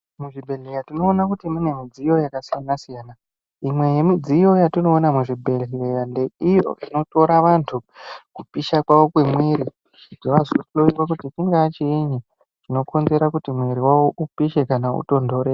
Muzvibhedhlera tinoona kuti mune midziyo yakasiyana-siyana. Imwe yemidziyo yatinoona muzvibhedhlera ndeiyo inotora vantu kupisha kwavo kwemwiri kuti vazohloiwe kuti chingava chiinyi chinokonzera kuti mwiri wavo upishe kana utontore.